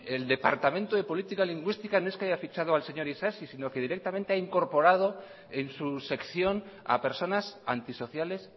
el departamento de política lingüística no es que haya ficha al señor isasi sino que directamente ha incorporado en su sección a personas antisociales